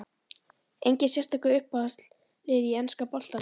Enginn sérstakur Uppáhalds lið í enska boltanum?